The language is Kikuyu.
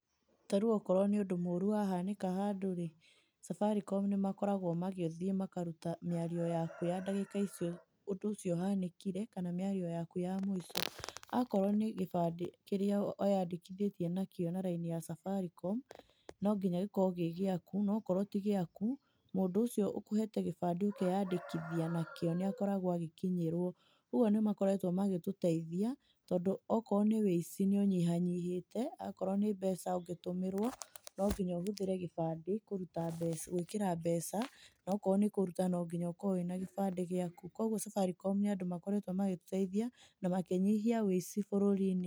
Ta rĩu okorwo nĩ ũndũ mũru wahanĩka handũ rĩ, Safaricom nĩ makoragwo magĩthiĩ makaruta mĩario yaku ya ndagĩka icio ũndũ ũcio ũhanĩkire, kana mĩario yaku ya mũico. Akorwo nĩ gĩbandĩ kĩrĩa wĩyandĩkithĩtie na kĩo na raini ya Safaricom, no nginya gĩkorwo gĩ gĩaku. No okorwo ti gĩaku, mũndũ ũcio ũkũhete gĩbandĩ ũkeyandĩkithia nakĩo nĩ akoragwo agĩkinyĩrwo. Ũguo nĩ makoretwo magĩtũteithia, tondũ okorwo nĩ wĩici nĩ ũnyihanyihĩte. Akorwo nĩ mbeca ũngĩtũmĩrwo, no nginya ũhũthĩre gĩbandĩ kũruta mbeca, gwĩkĩra mbeca. No okorwo nĩ kũruta no nginya ũkorwo wĩna gĩbandĩ gĩaku. Kũguo Safaricom nĩ andũ makoretwo magĩtũteithia, na makĩnyihia wĩici bũrũri-inĩ.